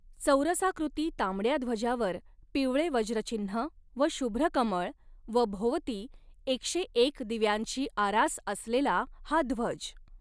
चौरसाकृती तांबड्या ध्वजावर पिवळे वज्रचिह्न व शुभ्रकमळ व भोवती एकशे एक दिव्यांची आरास असलेला हा ध्वज.